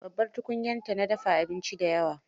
Babbar tukunyarta na dafa abinci da yawa.